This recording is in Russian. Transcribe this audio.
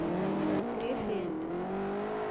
крефельд